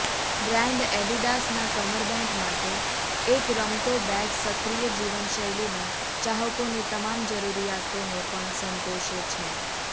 brand એડિડાસના કમરબેંટ માટે એક રમતો બેગ સક્રિય જીવનશૈલીના ચાહકોની તમામ જરૂરિયાતોને પણ સંતોષે છે